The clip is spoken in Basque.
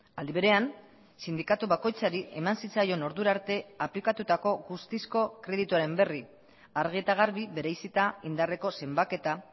aldi berean sindikatu bakoitzari eman zitzaion ordura arte aplikatutako guztizko kredituaren berri argi eta garbi bereizita indarreko zenbaketa